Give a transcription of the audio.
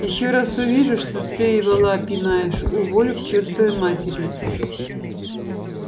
ещё раз увижу что ты вола пинаешь уволю к чертовой матери